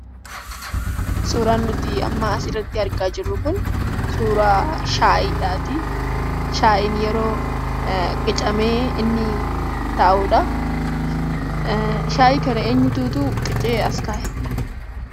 Suuraan nuti amma asirratti argaa jirru kun suuraa shaayiidhaatii. Shaayiin yeroo qicamee inni taa'udha. Shaayii kana eenyututuu qicee as kaa'e?